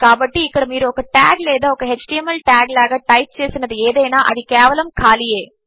కాబట్టి ఇక్కడమీరుఒకటాగ్లేదాఒక ఎచ్టీఎంఎల్ టాగ్లాగాటైప్చేసినదిఏదైనా అదికేవలముఖాళీయే